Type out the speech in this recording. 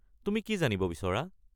তুমি কি জানিব বিচৰা?